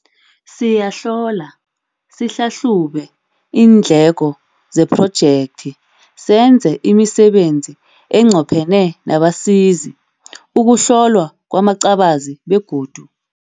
Siyahlola, sihlahlube iindleko zephrojekthi, senze imisebenzi enqophene nabasizi, ukuhlolwa kwamacabazi begodu